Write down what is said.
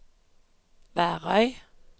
Værøy